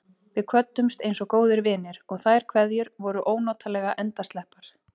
Við kvöddumst einsog góðir vinir, og þær kveðjur voru ónotalega endasleppar.